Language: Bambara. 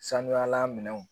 Sanuyala minɛnw